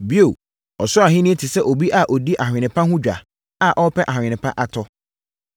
“Bio, Ɔsoro Ahennie te sɛ obi a ɔdi ahwene pa ho edwa a ɔrepɛ ahwene pa atɔ.